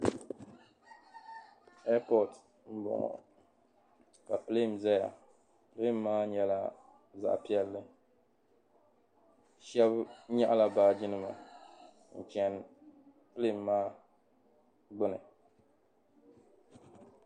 ɛpɔti m-bɔŋɔ ka pilɛn zaya pilɛn maa nyɛla zaɣ' piɛlli shɛba nyaɣila baajinima n-chani pilɛn maa gbuni